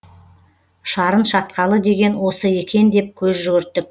шарын шатқалы деген осы екен деп көз жүгірттік